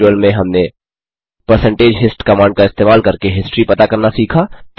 इस ट्यूटोरियल में हमने परसेंटेज हिस्ट कमांड का इस्तेमाल करके हिस्ट्री पता करना सीखा